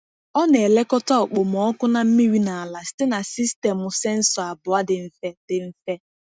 Ọ na-elekọta okpomọkụ na mmiri n’ala site na sistemụ sensọ abụọ dị mfe. dị mfe.